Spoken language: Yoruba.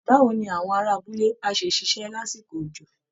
Báwo ni àwọn ará abúlé á ṣe ṣiṣẹ́ lásìkò òjò?